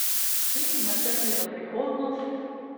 In načrti za prihodnost?